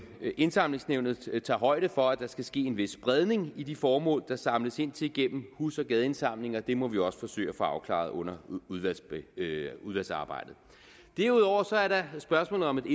indsamlingsnævnet tager højde for at der skal ske en vis spredning i de formål der samles ind til gennem hus og gadeindsamlinger og det må vi også forsøge at få afklaret under udvalgsarbejdet derudover er der spørgsmålet om